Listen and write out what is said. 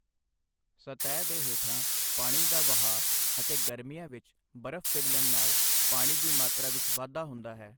ਸਤਹ ਦੇ ਹੇਠਾਂ ਪਾਣੀ ਦਾ ਵਹਾਅ ਅਤੇ ਗਰਮੀਆਂ ਵਿੱਚ ਬਰਫ਼ ਪਿਘਲਣ ਨਾਲ ਪਾਣੀ ਦੀ ਮਾਤਰਾ ਵਿੱਚ ਵਾਧਾ ਹੁੰਦਾ ਹੈ।